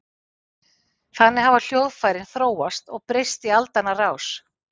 Þannig hafa hljóðfærin þróast og breyst í aldanna rás.